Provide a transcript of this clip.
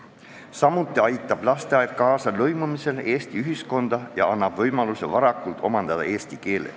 Samuti aitab lasteaed kaasa lõimumisele Eesti ühiskonda ja annab võimaluse omandada varakult eesti keel.